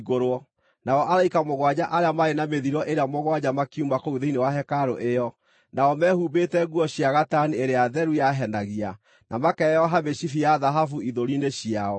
Nao araika mũgwanja arĩa maarĩ na mĩthiro ĩrĩa mũgwanja makiuma kũu thĩinĩ wa hekarũ ĩyo. Nao meehumbĩte nguo cia gatani ĩrĩa theru yahenagia, na makeyoha mĩcibi ya thahabu ithũri-inĩ ciao.